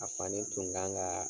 A fani tun kan ka